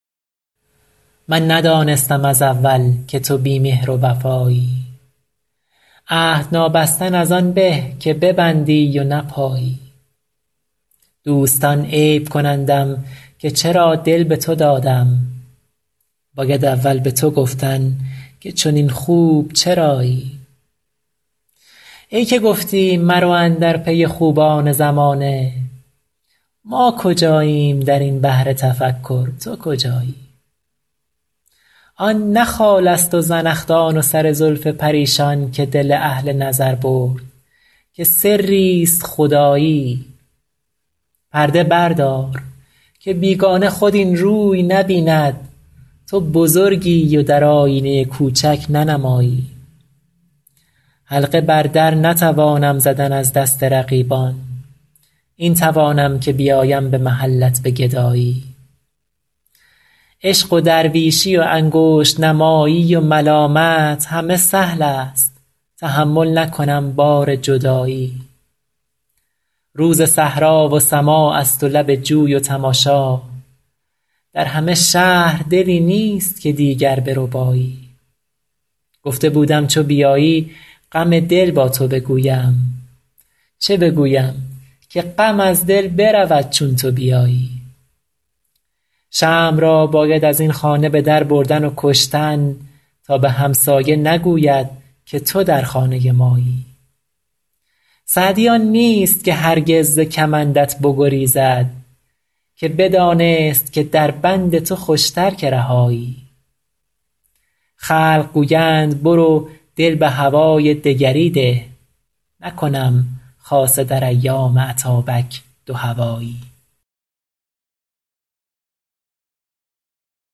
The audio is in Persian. من ندانستم از اول که تو بی مهر و وفایی عهد نابستن از آن به که ببندی و نپایی دوستان عیب کنندم که چرا دل به تو دادم باید اول به تو گفتن که چنین خوب چرایی ای که گفتی مرو اندر پی خوبان زمانه ما کجاییم در این بحر تفکر تو کجایی آن نه خالست و زنخدان و سر زلف پریشان که دل اهل نظر برد که سریست خدایی پرده بردار که بیگانه خود این روی نبیند تو بزرگی و در آیینه کوچک ننمایی حلقه بر در نتوانم زدن از دست رقیبان این توانم که بیایم به محلت به گدایی عشق و درویشی و انگشت نمایی و ملامت همه سهلست تحمل نکنم بار جدایی روز صحرا و سماعست و لب جوی و تماشا در همه شهر دلی نیست که دیگر بربایی گفته بودم چو بیایی غم دل با تو بگویم چه بگویم که غم از دل برود چون تو بیایی شمع را باید از این خانه به در بردن و کشتن تا به همسایه نگوید که تو در خانه مایی سعدی آن نیست که هرگز ز کمندت بگریزد که بدانست که در بند تو خوشتر که رهایی خلق گویند برو دل به هوای دگری ده نکنم خاصه در ایام اتابک دوهوایی